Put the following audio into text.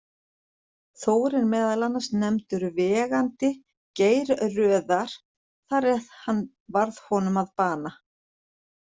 Þór er meðal annars nefndur vegandi Geirröðar þar eð hann varð honum að bana.